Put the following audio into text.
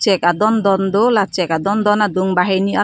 chek adondon do la chek adondon adung banghini arjap--